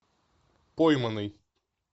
пойманный